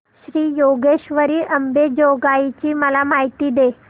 श्री योगेश्वरी अंबेजोगाई ची मला माहिती दे